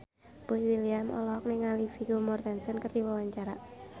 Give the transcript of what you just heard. Boy William olohok ningali Vigo Mortensen keur diwawancara